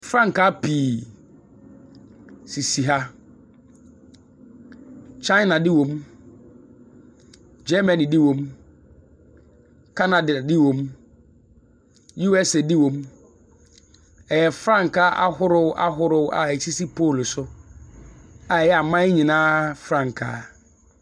Frankaa pii sisi ha. China de wɔm, Germany de wɔm, Canada de wɔm, USA de wɔm, ɛyɛ frankaa ahorow ahorow a esisi pole so a ɛyɛ aman nyinaa frankaa.